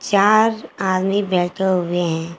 चार आदमी बैठे हुए हैं।